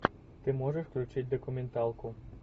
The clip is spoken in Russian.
ты можешь включить документалку